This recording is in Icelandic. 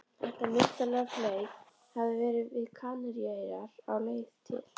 Þetta myndarlega fley hafði verið við Kanaríeyjar á leið til